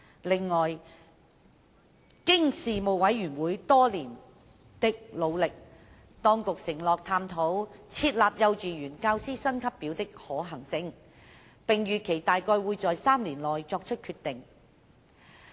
此外，經事務委員會多年的努力，當局承諾探討設立幼稚園教師薪級表的可行性，並預期大概會在3年內作出決定。